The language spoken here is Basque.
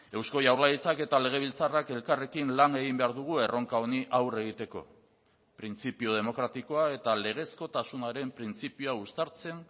eusko jaurlaritzak eta legebiltzarrak elkarrekin lan egin behar dugu erronka honi aurre egiteko printzipio demokratikoa eta legezkotasunaren printzipioa uztartzen